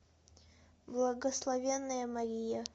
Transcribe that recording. благословенная мария